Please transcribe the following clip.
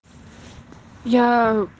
я